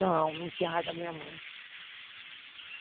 Não, não tinha raiva da minha mãe.